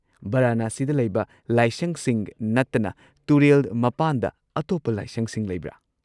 ꯕꯔꯥꯅꯥꯁꯤꯗ ꯂꯩꯕ ꯂꯥꯏꯁꯪꯁꯤꯡ ꯅꯠꯇꯅ ꯇꯨꯔꯦꯜ ꯃꯄꯥꯟꯗ ꯑꯇꯣꯞꯄ ꯂꯥꯏꯁꯪꯁꯤꯡ ꯂꯩꯕ꯭ꯔꯥ?